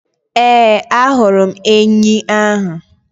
Ee, ahụrụ m enyi ahụ